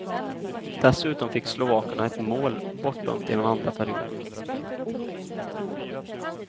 Dessutom fick slovakerna ett mål bortdömt i den andra perioden.